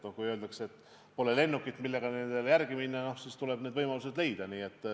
Kui öeldakse, et pole lennukit, millega nendele järele minna, siis tuleb see võimalus leida.